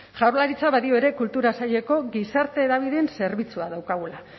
jaurlaritza badio ere kultura saileko gizarte hedabideen zerbitzua daukagula